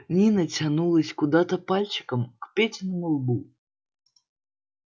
нина тянулась куда-то пальчиком к петиному лбу